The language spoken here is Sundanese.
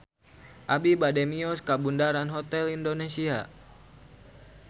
Abi bade mios ka Bundaran Hotel Indonesia